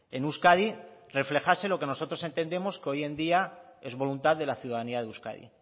en euskadi reflejase lo que nosotros entendemos que hoy en día es voluntad de la ciudadanía de euskadi y